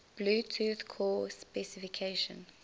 bluetooth core specification